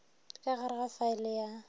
ka gare ga faele ya